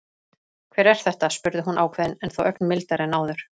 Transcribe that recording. Hver er þetta? spurði hún ákveðin en þó ögn mildari en áður.